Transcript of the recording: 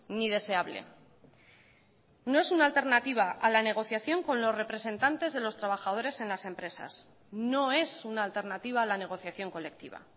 ni deseable no es una alternativa a la negociación con los representantes de los trabajadores en las empresas no es una alternativa a la negociación colectiva